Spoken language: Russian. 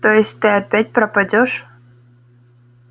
то есть ты опять пропадёшь